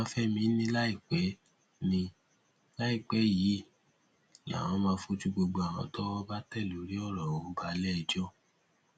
babafẹmi ni láìpẹ ni láìpẹ yìí làwọn máa fojú gbogbo àwọn tọwọ bá tẹ lórí ọrọ ọhún balẹẹjọ